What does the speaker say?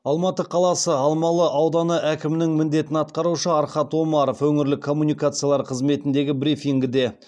алматы қаласы алмалы ауданы әкімінің міндетін атқарушы архат омаров өңірлік коммуникациялар қызметіндегі брифингіде